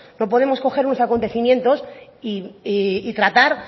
no podemos coger unos acontecimientos y tratar